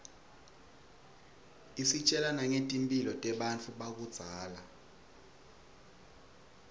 isitjela nangetimphilo tebantfu bakudzala